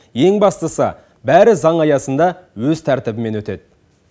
ең бастысы бәрі заң аясында өз тәртібімен өтеді